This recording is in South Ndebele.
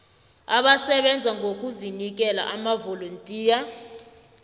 abasebenza ngokuzinikela amavolontiya